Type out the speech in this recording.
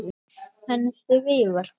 En því var breytt.